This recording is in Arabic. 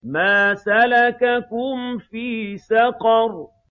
مَا سَلَكَكُمْ فِي سَقَرَ